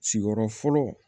Sigiyɔrɔ fɔlɔ